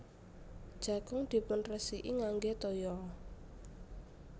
Jagung dipunresiki ngangge toya